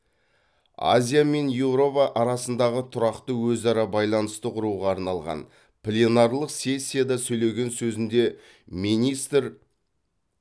азия мен еуропа арасындағы тұрақты өзара байланысты құруға арналған пленарлық сессияда сөйлеген сөзінде министр